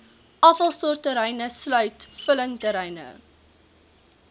afvalstortterreine sluit vullingsterreine